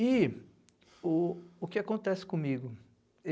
E o o que acontece comigo?